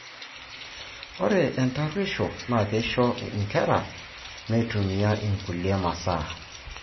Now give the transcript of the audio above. Ore entaruesho naa keisho inkera teimetumia inkulie masaa.